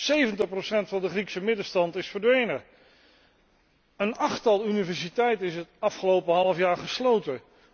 Zeventig procent van de Griekse middenstand is verdwenen. Een achttal universiteiten is het afgelopen halfjaar gesloten.